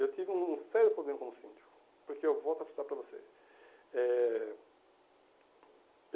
Eu tive um um sério problema como síndico, porque eu volto a para você. Eh